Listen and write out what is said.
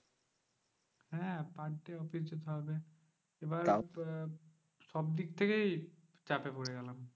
হ্যাঁ per day office যেতে হবে। এবার আহ সবদিক থেকেই চাপে পরে গেলাম।